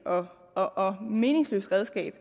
og og meningsløst redskab